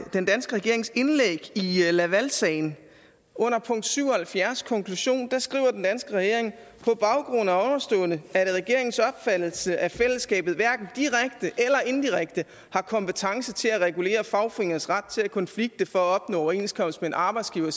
den danske regerings indlæg i lavalsagen under punkt syv og halvfjerds i konklusionen skriver den danske regering på baggrund af ovenstående er det regeringens opfattelse at fællesskabet hverken direkte eller indirekte har kompetence til at regulere fagforeningers ret til at konflikte for at opnå overenskomst med en arbejdsgiver